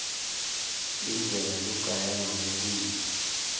indlela logaya ngayo kudla